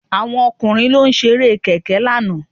Àwọn ọkùnrin ló ṣe Eré kẹ̀kẹ́ lánàá